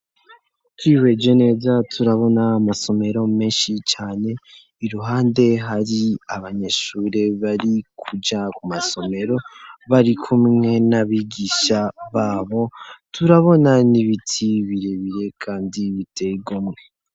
Twihweje neza turabona amasomero menshi cane iruhande hari abanyeshure bari kuja ku masomero bari kumwe n'abigisha babo, turabona n'ibiti birebire kandi biteye igomwe.